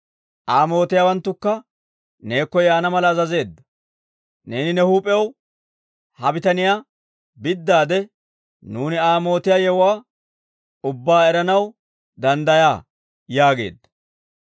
Aa mootiyaawanttukka neekko yaana mala azazeedda; neeni ne huup'ew ha bitaniyaa biddaade, nuuni Aa mootiyaa yewuwaa ubbaa eranaw danddayaa» yaageedda.